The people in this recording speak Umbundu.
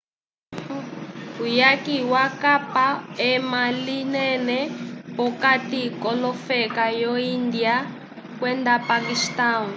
uyaki wakapa ema linene p”okati k’olofeka vyo índia kwenda paquistão